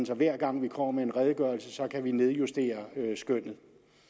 så hver gang vi kommer med en redegørelse kan vi nedjustere skønnet